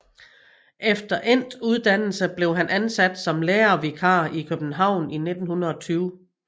Efter endt uddannelse blev han ansat som lærervikar i København i 1920